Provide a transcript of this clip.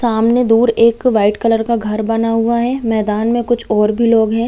सामने दूर एक वाइट कलर का घर बना हुआ है मैदान में और कुछ और भी लोग है।